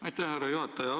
Aitäh, härra juhataja!